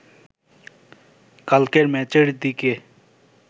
কালকের ম্যাচের দিকে